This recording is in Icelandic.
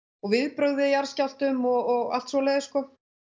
viðbrögð við jarðskjálftum og allt svoleiðis sko